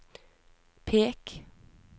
pek